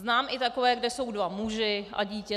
Znám i takové, kde jsou dva muži a dítě.